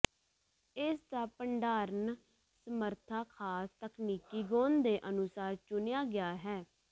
ਇਸ ਦਾ ਭੰਡਾਰਨ ਸਮਰੱਥਾ ਖਾਸ ਤਕਨੀਕੀ ਗੁਣ ਦੇ ਅਨੁਸਾਰ ਚੁਣਿਆ ਗਿਆ ਹੈ